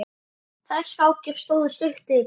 Þær skákir stóðu stutt yfir.